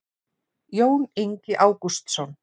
jón ingi ágústsson